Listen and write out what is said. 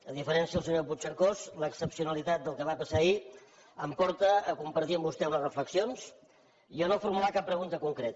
a diferència del senyor puigcercós l’excepcionalitat del que va passar ahir em porta a compartir amb vostè unes reflexions i a no formular cap pregunta concreta